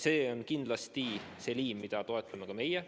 See on kindlasti see liin, mida toetame ka meie.